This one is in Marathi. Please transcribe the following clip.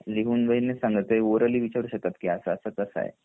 लिहून वगैरे नाही सांगायच ते ओरळली विचारू शकतात असा असा कसं आहे